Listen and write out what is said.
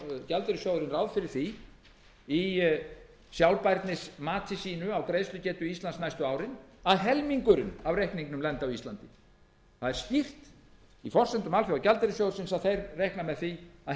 ekkert lendi á íslenska ríkinu hvers vegna gerir þá alþjóðagjaldeyrissjóðurinn ráð fyrir því í sjálfbærnismati sínu á greiðslugetu íslands næstu árin að helmingurinn af reikningnum lendi á íslandi það er skýrt í forsendum alþjóðagjaldeyrissjóðsins að þeir reikna með því að